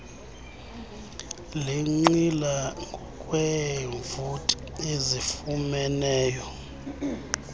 lenqila ngokweevoti ezifumeneyo